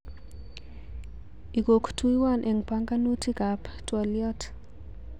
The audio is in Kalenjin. Ikotyuwon eng banganutikam twoliot